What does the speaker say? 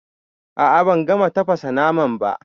A'a ban gama tafasa naman ba.